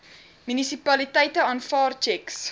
munisipaliteite aanvaar tjeks